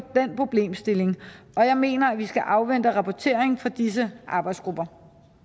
den problemstilling og jeg mener at vi skal afvente rapportering fra disse arbejdsgrupper